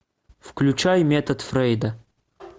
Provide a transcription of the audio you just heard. включай метод фрейда